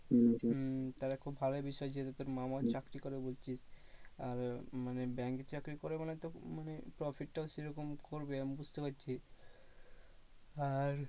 হম তাহলে খুব ভালোই বিষয় যেহেতু তোর মামা চাকরি করে বলছিস আর মানে bank এর চাকরি করে মানে তো মানে profit টাও সেরকম করবে আমি বুঝতে পারছি। আর